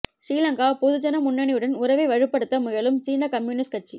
சிறிலங்கா பொதுஜன முன்னணியுடன் உறவை வலுப்படுத்த முயலும் சீன கம்யூனிஸ்ட் கட்சி